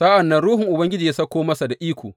Sa’an nan Ruhun Ubangiji ya sauko masa da iko.